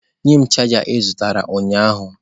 Nye m chaja ị zụtara ụnyahụ.